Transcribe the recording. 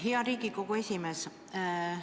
Hea Riigikogu esimees!